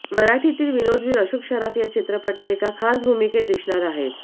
मराठीतील विनोदवीर अशोक सराफ या चित्रपटात एका खास भूमिकेत दिसणार आहेत